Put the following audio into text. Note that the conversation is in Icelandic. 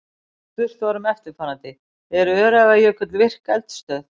Spurt var um eftirfarandi: Er Öræfajökull virk eldstöð?